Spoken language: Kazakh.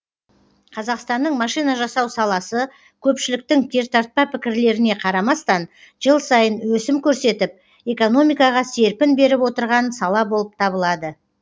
қазақстанның машина жасау саласы көпшіліктің кертартпа пікірлеріне қарамастан жыл сайын өсім көрсетіп экономикаға серпін беріп отырған сала болып табылады